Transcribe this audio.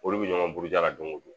Olu bɛ ɲɔgɔn buruja don o don!